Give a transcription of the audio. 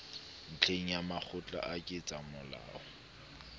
ntlheng ya makgotla a ketsamolao